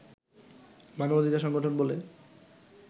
মানবাধিকার সংগঠন বলে